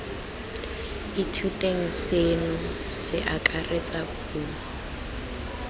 ithuteng seno se akaretsa dipuo